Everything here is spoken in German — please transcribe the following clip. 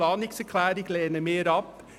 Die Planungserklärung lehnen wir ab.